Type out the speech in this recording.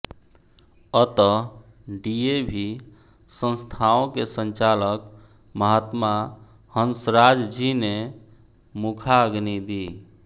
अतः D A V संस्थाओं के संचालक महात्मा हंसराज जी ने मुखाग्नि दी